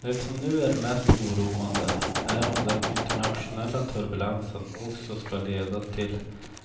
Det som nu är mest oroande är om den internationella turbulensen också ska leda till